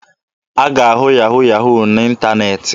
A ga-ahụ yahu yahu n'ịntaneetị.